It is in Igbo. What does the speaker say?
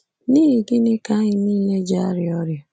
N'ihi gịnị ka anyị nile ji arịa ọrịa?